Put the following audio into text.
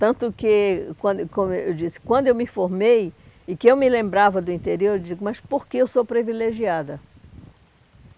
Tanto que, quando como eu disse, quando eu me formei e que eu me lembrava do interior, eu digo, mas por que eu sou privilegiada?